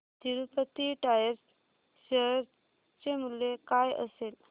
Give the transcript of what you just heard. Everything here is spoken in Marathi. तिरूपती टायर्स शेअर चे मूल्य काय असेल